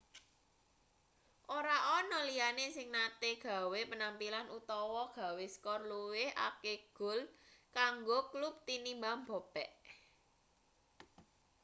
ora ana liyane sing nate gawe penampilan utawa gawe skor luwih akeh gol kanggo klub tinimbang bobek